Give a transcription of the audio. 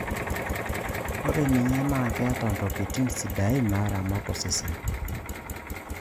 Ore ninye naa keeta ntokitin sidaain naaramat osesen.